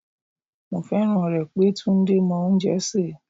Mo fẹ́ràn rẹ̀ pé Túndé mọ oúnjẹ sè.